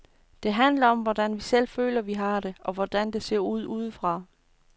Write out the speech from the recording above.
Det handler om, hvordan vi selv føler, vi har det, og hvordan det ser ud udefra.